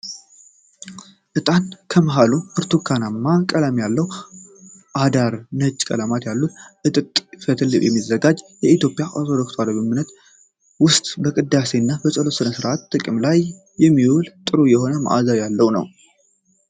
እጣን ከመሀሉ ብርቱካናማ ቀለም ያለው ከዳር ነጭ ቀለማት ያሉት ከጥጥ ፈትል የሚዘጋጅ በኢትዮጵያ ኦርቶዶክስ ተዋህዶ ቤተክርስቲያን ውስጥ በቅዳሴ እና ፀሎት ሰአት ጥቅም ላይ የሚውል ጥሩ የሆነ መአዛ ያለው ነው።